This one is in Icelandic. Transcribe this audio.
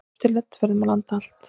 Eftirlit verði um land allt.